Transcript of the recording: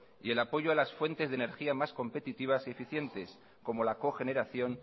y el apoyo a las fuentes de energía más competitivas y eficientes como la cogeneración